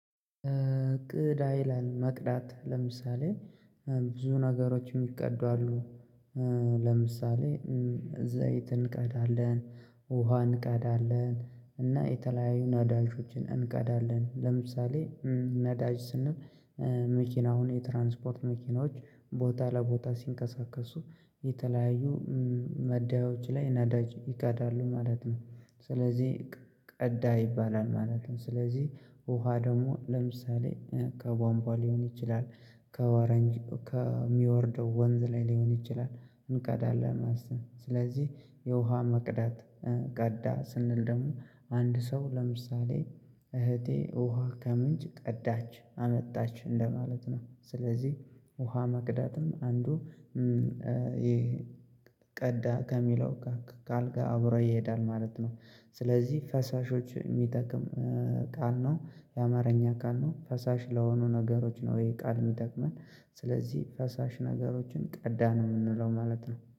ቅዳይ መቅዳት ለምሳሌ ብዙ ነገሮች የሚቀዱ አሉ። ለምሳሌ ዘይት እንቀዳለን ውሃ እንቀዳለን እና የተለያዩ ነዳጆችን እንቀዳለን። ለምሳሌ ነዳጅ ስንል መኪና አሁን የትራንስፖርት መኪናዎች ቦታ ለቦታ ሲንቀሳቀሱ የተለያዩ መዳዮች ላይ ነዳጅ ይቀዳሉ ማለት ነው ስለዚህ ቀዳ ይባላል ማለት ነው። ስለዚህ ውሃ ደግሞ ለምሳሌ ከቧንቧ ሊሆን ይችላል ከወረንጅ ከሚወርደው ወንዝ ላይ ሊሆን ይችላል። እንቀዳለን አስብ ስለዚህ የውሃ መቅዳት ቀዳ ስንል ደግሞ አንድ ሰው ለምሳሌ እህቴ ውሃ ከምንጭ ቀዳች አመጣች እንደማለት ነው። ስለዚህ ውሃ መቅዳትም አንዱ ይሄ ቀዳ ከሚለው ጋር ቃልጋር አብረው ይሄዳል ማለት ነው። ስለዚህ ፈሳሾች የሚጠቅም ቃል ነው የአማርኛ ቃል ነው። ፈሳሽ ለሆኑ ነገሮች ነው ይሄ ቃል የሚጠቅመን ስለዚህ ፈሳሽ ነገሮችን ቀዳ ነው የምንለው ማለት ነው።